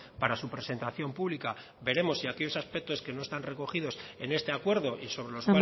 para su presentación pública veremos si aquellos aspectos que no están recogidos en este acuerdo y sobre los